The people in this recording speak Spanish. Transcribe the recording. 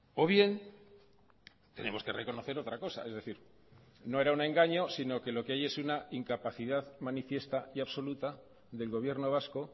o bien tenemos que reconocer otra cosa es decir no era un engaño sino que lo que hay es una incapacidad manifiesta y absoluta del gobierno vasco